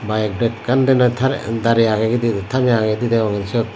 bike ekkan din noi tarey darey agegedi tamey agegidi deyongey syot.